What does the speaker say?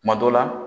Kuma dɔw la